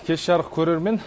кеш жарық көрермен